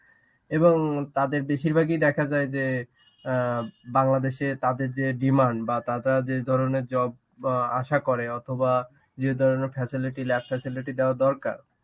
এবং তাদের বেশিরভাগই দেখা যায় যে অ্যাঁ বাংলাদেশে তাদের যে demand বা তারা যে ধরনের job অ্যাঁ আশা করে অথবা যে ধরনের facility lab facility দেওয়া দরকার.